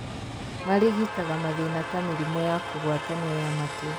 Marigitaga mathĩna ta mĩrimũ ya kũgwatanio ya matu